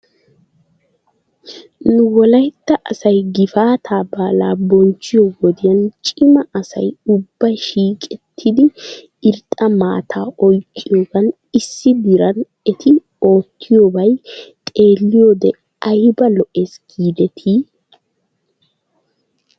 Nu wolaytta asay gifaataa baalaa bonchchiyo wodiyan cima asay ubbay shiiqettidi irxxa maataa oyqqiyoogan issi diran eti oottiyoobay xeelliyoode ayba lo'es giidetii?